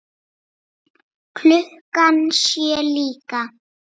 Klukkan sjö líka.